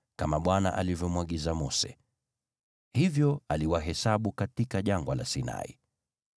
kama Bwana alivyomwagiza Mose. Hivyo aliwahesabu katika Jangwa la Sinai: